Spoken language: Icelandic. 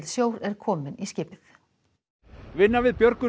sjór er kominn í skipið vinna við björgun